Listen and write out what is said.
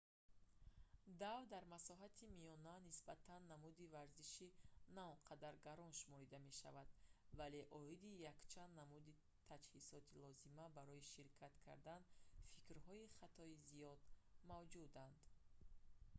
дав дар масоҳати миёна нисбатан намуди варзиши наонқадар гарон шуморида мешавад вале оиди якчанд намуди таҷҳизоти лозима барои ширкат кардан фикрҳои хатои зиёд мавҷуданд